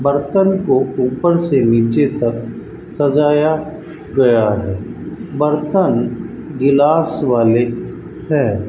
बर्तन को ऊपर से नीचे तक सजाया गया है बर्तन गिलास वाले हैं।